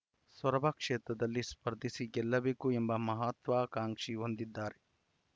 ಸೊರಬ ಕ್ಷೇತ್ರದಲ್ಲಿಯೇ ಸ್ಪರ್ಧಿಸಿ ಗೆಲ್ಲಬೇಕು ಎಂಬ ಮಹತ್ವಾಕಾಂಕ್ಷಿ ಹೊಂದಿದ್ದಾರೆ